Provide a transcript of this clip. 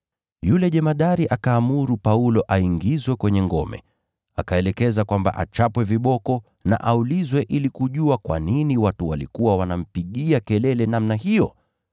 yule jemadari akaamuru Paulo aingizwe kwenye ngome. Akaelekeza kwamba achapwe viboko na aulizwe ili kujua kwa nini watu walikuwa wanampigia kelele namna hiyo.